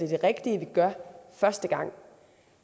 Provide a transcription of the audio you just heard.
det rigtige vi gør første gang